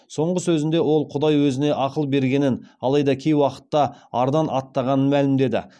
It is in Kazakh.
соңғы сөзінде ол құдай өзіне ақыл бергенін алайда кей уақытта ардан аттағанын мәлімдеді